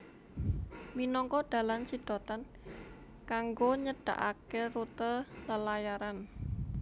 Minangka dalan sidhatan kangggo nyedhakaké rute lelayaran